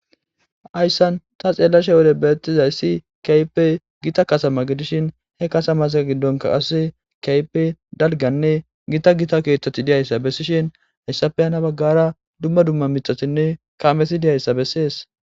Hayssan ta xeellashe wode beettizayssi kaype gita kasama gidishin he kasamasa giddonka asose kaype dalganne gita gita keeththati diyayssa bessishin hayssafeyhana baggara dumma dumma mitatinne kaamesi diyayssa bessees.